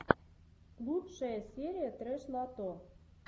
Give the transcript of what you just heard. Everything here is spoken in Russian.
лучшая серия трэш лото